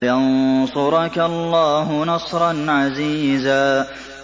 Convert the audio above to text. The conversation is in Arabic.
وَيَنصُرَكَ اللَّهُ نَصْرًا عَزِيزًا